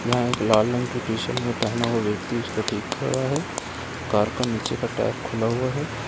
यहाँ एक लाल रंग के टी-शर्ट में पहना हुआ व्यक्ति उसको देख रहा है कार का नीचे का टायर खुला हुआ है।